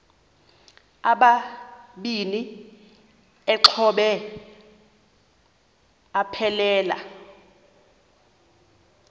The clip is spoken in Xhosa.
amabini exhobe aphelela